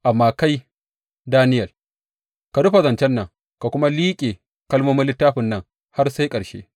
Amma kai, Daniyel, ka rufe zancen nan ka kuma liƙe kalmomin littafin nan har sai ƙarshe.